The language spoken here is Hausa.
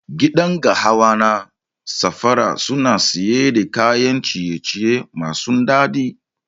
Gidan gahawa na safara suna siyar da kayan ciye ciye masu dadi.